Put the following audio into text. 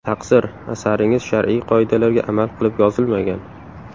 Taqsir, asaringiz shar’iy qoidalarga amal qilib yozilmagan.